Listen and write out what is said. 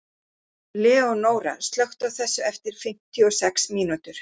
Leónóra, slökktu á þessu eftir fimmtíu og sex mínútur.